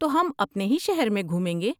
تو ہم اپنے ہی شہر میں گھومیں گے؟